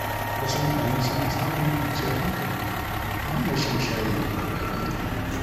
Wasu mutane suna samun kwanciyar hankali ta hanyar shan shayi mai daɗi.